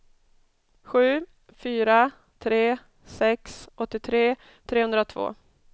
sju fyra tre sex åttiotre trehundratvå